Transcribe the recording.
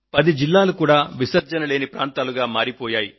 పది జిల్లాలు కూడా విసర్జన లేని ప్రాంతాలుగా మారిపోయాయి